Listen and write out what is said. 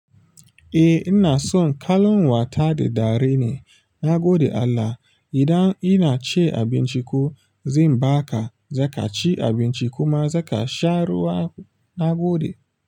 Eh ina son kallon wata da dare ne, na gode Allah. Idan ina cin abinci ko zan baka, za ka ci abinci kuma za ka sha ruwa na gode.